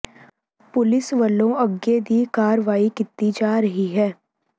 police ਵਲੋਂ ਅੱਗੇ ਦੀ ਕਾਰਵਾਈ ਕੀਤੀ ਜਾ ਰਹੀ ਹੈ